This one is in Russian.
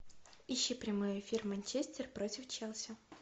ищи прямой эфир манчестер против челси